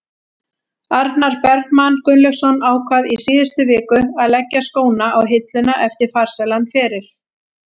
Arnar Bergmann Gunnlaugsson ákvað í síðustu viku að leggja skóna á hilluna eftir farsælan feril.